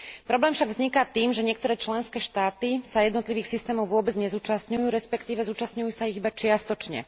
Problém však vzniká tým, že niektoré členské štáty sa jednotlivých systémov vôbec nezúčastňujú, resp. zúčastňujú sa ich iba čiastočne.